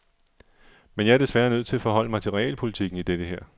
Men jeg er desværre nødt til at forholde mig til realpolitikken i dette her.